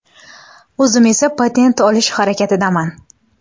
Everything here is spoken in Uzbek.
O‘zim esa patent olish harakatidaman.